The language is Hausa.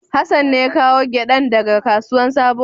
Hassan ne ya kawo giɗan da ga kasuwan sabo.